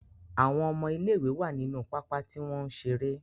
Àwọn ọmọ ilé ìwé wá nínú pápá tí wọ́n ń ṣeré.